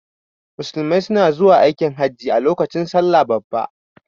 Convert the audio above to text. Musulmai suna zuwa aikin hajin a lokacin salla babba